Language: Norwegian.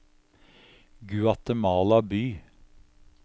Guatemala by